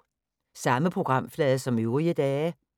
Samme programflade som øvrige dage